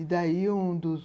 E daí, um dos